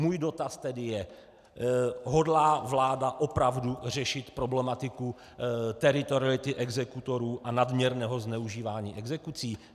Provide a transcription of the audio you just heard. Můj dotaz tedy je: Hodlá vláda opravdu řešit problematiku teritoriality exekutorů a nadměrného zneužívání exekucí?